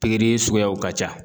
Pikiri suguyaw ka ca